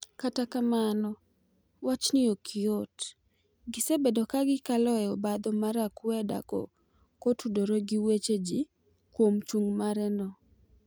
kata kamano wachni ok yot gisebedo ka gi kalo e obadho mar akweda ko tudore gi weche ji kuom chung' mare no.